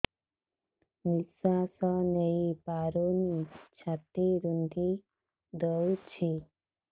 ନିଶ୍ୱାସ ନେଇପାରୁନି ଛାତି ରୁନ୍ଧି ଦଉଛି